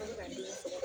An bɛ ka den sɔrɔ